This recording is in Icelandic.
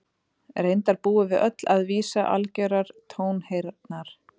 reyndar búum við öll að vísi algjörrar tónheyrnar